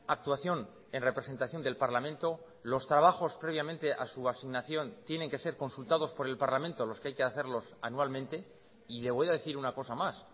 actuación en representación del parlamento los trabajos previamente a su asignación tienen que ser consultados por el parlamento los que hay que hacerlos anualmente y le voy a decir una cosa más